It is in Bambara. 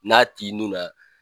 N'a t'i ni kan